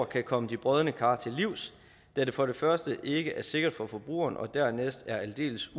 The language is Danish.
kan komme de brodne kar til livs da det for det første ikke er sikkert for forbrugeren og dernæst er aldeles